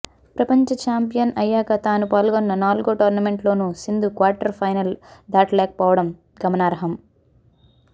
ప్రపంచ చాంపియన్ అయ్యాక తాను పాల్గొన్న నాలుగో టోర్నమెంట్లోనూ సింధు క్వార్టర్ ఫైనల్ దాటలేకపోవడం గమనార్హం